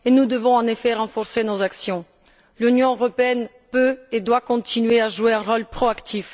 Nous devons effectivement renforcer nos actions l'Union européenne peut et doit continuer à jouer un rôle proactif.